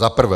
Za prvé.